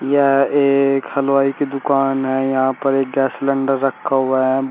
यह एक हलवाई की दुकान है यहां पर एक गैस सिलेंडर रखा हुआ है।